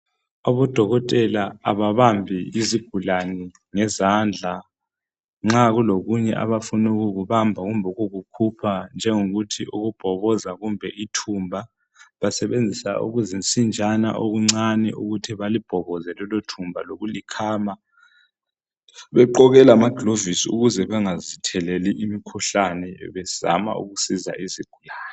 Abodokotela ababambi izigulani ngezandla , nxa kulokunye abafuna ukukubamba kumbe ukukukhupha njengokuthi ukubhoboza kumbe ithumba basebenzisa okuzinsinjana okuncane ukuthi balibhoboze lelo thumba lokulikhama begqoke lamagilovisi ukuze bengazitheleli imikhuhlane bezama ukusiza izigulani.